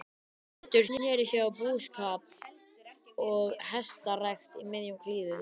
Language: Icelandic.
Pétur sneri sér að búskap og hestarækt í miðjum klíðum.